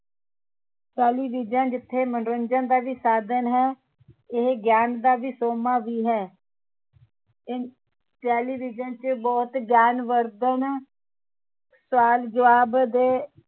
Television ਜਿਥੇ ਮਨੋਰੰਜਨ ਦਾ ਵੀ ਸਾਧਣ ਹੈ ਇਹ ਗਿਆਨ ਦਾ ਵੀ ਸੋਮਾ ਵੀ ਹੈ। ਟੈਲੀਵਿਜ਼ਨ ਚ ਬਹੁਤ ਗਿਆਨਵਰਧਨ ਸਵਾਲ ਜਵਾਬ ਦੇ